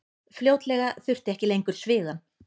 Fljótlega þurfti ekki lengur svigann.